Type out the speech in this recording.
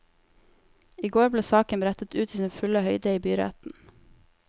I går ble saken brettet ut i sin fulle høyde i byretten.